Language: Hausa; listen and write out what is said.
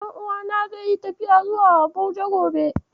Ɗan'uwana zai yi tafiya zuwa Abuja gobe.